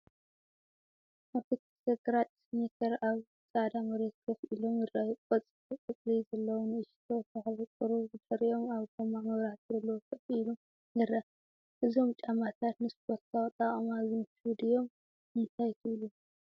ኣብቲ ክልተ ግራጭ ስኒከር ኣብ ጻዕዳ መሬት ኮፍ ኢሎም ይረኣዩ። ቆፃል ቆጽሊ ዘለዎ ንእሽቶ ተኽሊ ቁሩብ ብድሕሪኦም ኣብ ጎማ መብራህቲ ዘለዎ ኮፍ ኢሉ ይርአ። እዞም ጫማታት ንስፖርታዊ ኣጠቓቕማ ዝምችኡ ድዮም ? እንታይ ትብሉ?